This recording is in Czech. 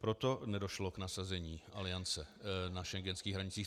Proto nedošlo k nasazení Aliance na schengenských hranicích.